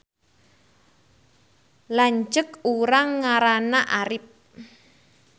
Lanceuk urang ngaranna Arip